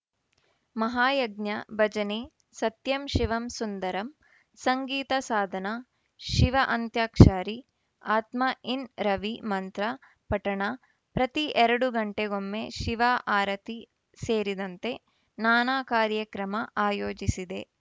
ಮಹಾಯಜ್ಞ ಭಜನೆ ಸತ್ಯಂ ಶಿವಂ ಸುಂದರಂ ಸಂಗೀತ ಸಾಧನ ಶಿವ ಅಂತ್ಯಾಕ್ಷರೀ ಆತ್ಮ ಇನ್‌ ರವಿ ಮಂತ್ರ ಪಠಣ ಪ್ರತಿ ಎರಡು ಗಂಟೆಗೊಮ್ಮೆ ಶಿವ ಆರತಿ ಸೇರಿದಂತೆ ನಾನಾ ಕಾರ್ಯಕ್ರಮ ಆಯೋಜಿಸಿದೆ